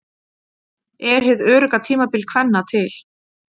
Er hið örugga tímabil kvenna til?